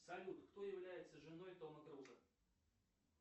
салют кто является женой тома круза